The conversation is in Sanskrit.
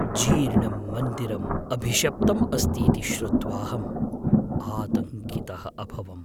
जीर्णं मन्दिरम् अभिशप्तम् अस्तीति श्रुत्वाहम् आतङ्कितः अभवम्।